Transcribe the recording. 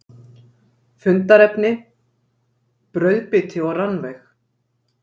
Fundarefni: Brauðbiti og rannveig.